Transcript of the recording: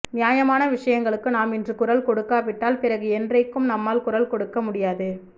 நியாயமான விஷயங்களுக்கு நாம் இன்று குரல் கொடுக்காவிட்டால் பிறகு என்றைக்கும் நம்மால் குரல் கொடுக்க முடியாது